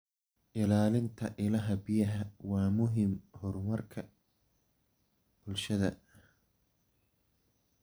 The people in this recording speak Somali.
Ilaalinta ilaha biyaha waa muhiim horumarka bulshada.